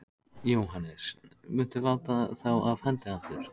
Jóhannes: Muntu láta þá af hendi aftur?